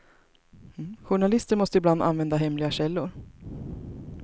Journalister måste ibland använda hemliga källor.